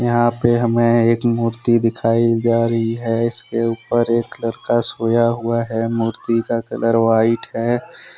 यहां पे हमे एक मूर्ति दिखाई दे रही है इस के ऊपर एक लड़का सोया हुआ है मूर्ति का कलर वाइट है।